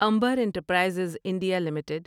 Amber Enterprises India limited